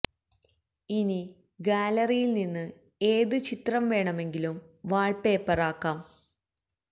ഇനി ഗാലറിയില് നിന്ന് ഏത് ചിത്രം വേണമെങ്കിലും വാള് പേപ്പര് ആക്കാം